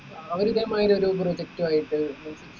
അവരിതെമായിരി ഒരു project റ്റു ആയിട്ട് ഉം